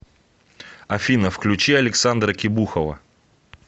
афина включи александра кебухова